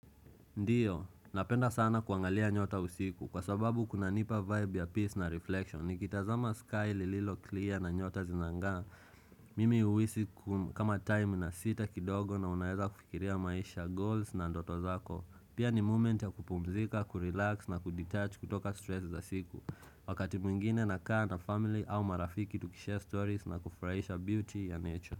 Ndiyo, napenda sana kuangalia nyota usiku kwa sababu kunanipa vibe ya peace na reflection. Nikitazama sky lililo clear na nyota zinang'aa. Mimi huhisi kama time inasita kidogo na unaweza kufikiria maisha, goals na ndoto zako. Pia ni moment ya kupumzika, kurelax na kudetouch kutoka stress za siku. Wakati mwingine nakaa na family au marafiki tukishare stories na kufurahisha beauty ya nature.